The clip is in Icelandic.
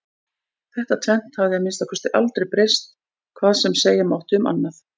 Þetta tvennt hafði að minnsta kosti aldrei breyst hvað sem segja mátti um annað.